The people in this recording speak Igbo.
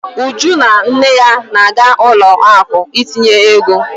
Uju na nne ya na-aga ụlọ akụ ịtụnye ego.